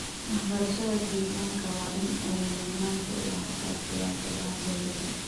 Waxbarashada deegaanka waa in ay mudnaanta u lahaataa siyaasadaha dowladda.